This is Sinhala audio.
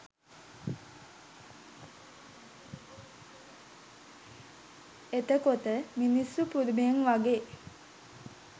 එතකොට මිනිස්සු පුදුමයෙන් වගේ